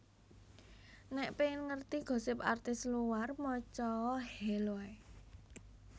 Nek pengen ngerti gosip artis luar moco o Hello ae